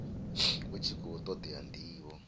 hu tshi khou todea ndivho